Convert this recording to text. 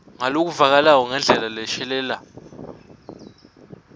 ngalokuvakalako ngendlela leshelela